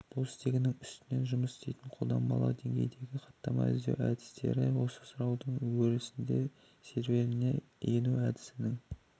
бұл стегінің үстінен жұмыс істейтін қолданбалы деңгейдегі хаттама іздеу әдістері осы сұраудың өрі-сінде серверіне ену әдісінің